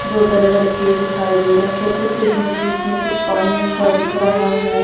दो बड़े बड़े खेत दिखाई दे रहे हैं खेतों के बीच बीच में कुछ पानी सा दिख रहा है।